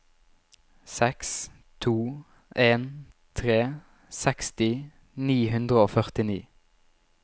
seks to en tre seksti ni hundre og førtini